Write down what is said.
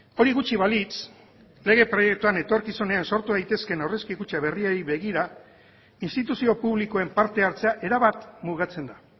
hori gutxi balitz lege proiektuan etorkizunean sortu daitezkeen aurrezki kutxa berriei begira instituzio publikoen parte hartzea erabat mugatzen da